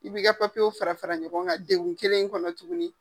I b'i ka papiyeo fara fara ɲɔgɔn kan degu kelen in kɔnɔ tuguni